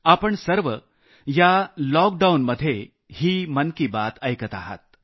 आपण सर्व या लॉकडाऊनमध्ये ही मन की बात ऐकत आहात